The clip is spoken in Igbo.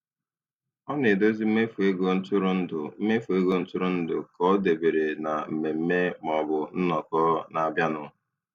Ọ na-edozi mmefu ego ntụrụndụ mmefu ego ntụrụndụ ka ọ dabere na mmemme maọbụ nnọkọ na-abịanụ.